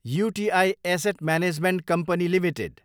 UTI asset management company Ltd